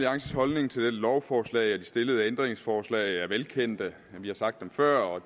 holdning til dette lovforslag og de stillede ændringsforslag er velkendt vi har sagt det før og